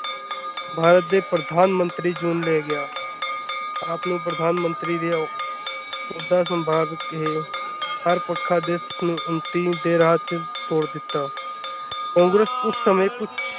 ਭਾਰਤ ਦੇ ਪ੍ਰਧਾਨ ਮੰਤਰੀ ਚੁਣ ਲਿਆ ਗਿਆ ਆਪ ਨੂੰ ਪ੍ਰਧਾਨ ਮੰਤਰੀ ਦੀ ਔ ਅਹੁਦਾ ਸੰਭਾਲ ਕੇ ਹਰ ਪ੍ਰਕਾਰ ਦੇਸ਼ ਨੂੰ ਉੱਨਤੀ ਦੇ ਰਾਹ ਚ ਤੋਰ ਦਿੱਤਾ ਕਾਂਗਰੇਸ ਉਸ ਸਮੇਂ ਕੁੱਛ।